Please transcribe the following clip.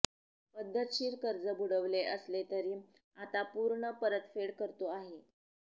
पद्धतशीर कर्ज बुडविले असले तरी आता पूर्ण परतफेड करतो आहे